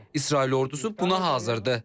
İsrail ordusu buna hazırdır.